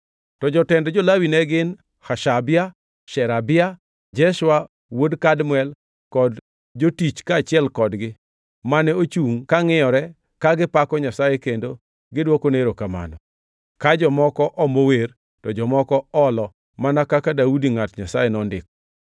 To jotend jo-Lawi ne gin: Hashabia, Sherebia, Jeshua wuod Kadmiel, kod jotich kaachiel kodgi, mane ochungʼ ka ngʼiyore ka gipako Nyasaye kendo gidwokone erokamano ka jomoko omo wer to jomoko olo mana kaka Daudi ngʼat Nyasaye nondiko.